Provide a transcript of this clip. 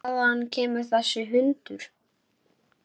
Hvaðan kemur þessi hundur?